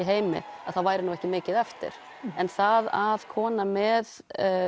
heimi að þá væri nú ekki mikið eftir en það að kona með